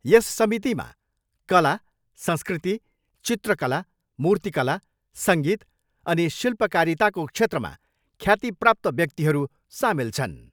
यस समितिमा कला, संस्कृति, चित्रकलला मूर्तिकला, सङ्गीत अनि शिल्पकारिताको क्षेत्रमा ख्यातिप्राप्त व्याक्तिहरू सामेल छन्।